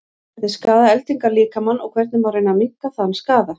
hvernig skaða eldingar líkamann og hvernig má reyna að minnka þann skaða